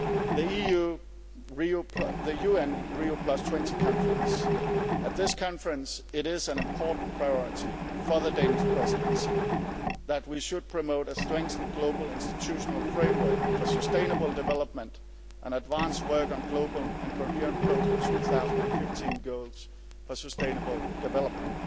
The UN Rio20 conference at this conference it is an important priority for the Danish Presidency that we should promote a strengthened global institutional framework for sustainable development and advance work on global and coherent post 2015 goals for sustainable development.